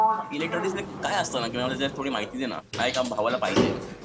इलेक्ट्रॉनिक्समध्ये काय असतं मला थोडी माहिती दे ना, माझ्या एका भावाला पाहिजे.